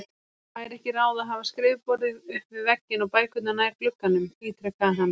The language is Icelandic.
Væri ekki ráð að hafa skrifborðið upp við vegginn og bækurnar nær glugganum? ítrekaði hann.